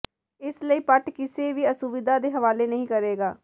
ਇਸ ਲਈ ਪਟ ਕਿਸੇ ਵੀ ਅਸੁਵਿਧਾ ਦੇ ਹਵਾਲੇ ਨਹੀ ਕਰੇਗਾ